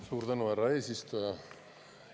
Suur tänu, härra eesistuja!